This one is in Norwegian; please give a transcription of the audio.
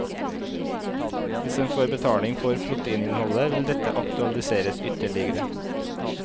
Hvis en får betaling for proteininnholdet, vil dette aktualiseres ytterligere.